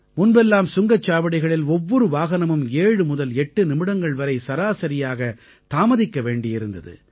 முன்பெல்லாம் சுங்கச்சாவடிகளில் ஒவ்வொரு வாகனமும் 7 முதல் 8 நிமிடங்கள் வரை சராசரியாக தாமதிக்க வேண்டியிருந்தது